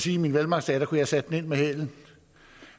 i mine velmagtsdage kunne have sat den ind med hælen